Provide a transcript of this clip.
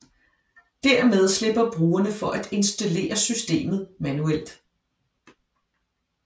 Dermed slipper brugerne for at installere systemet manuelt